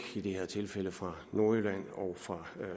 i det her tilfælde fra nordjylland og fra